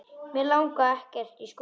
Mig langar ekkert í skóla.